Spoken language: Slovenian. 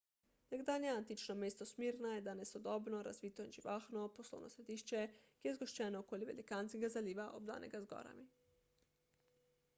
nekdanje antično mesto smirna je danes sodobno razvito in živahno poslovno središče ki je zgoščeno okoli velikanskega zaliva obdanega z gorami